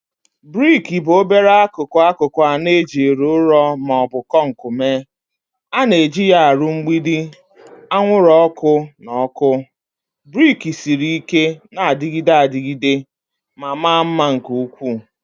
Briki bụ obere akụkụ akụkụ anọ ejiri ụrọ ma ọ bụ kọnk mee. A na-eji ha arụ mgbidi, anwụrụ ọkụ, na ọkụ. Brick siri ike, na-adịgide adịgide, ma mara mma nke ukwuu